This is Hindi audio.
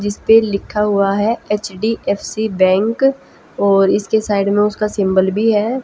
जिसपे लिखा हुआ है एच_डी_एफ_सी बैंक और इसके साइड में उसका सिंबल भी है।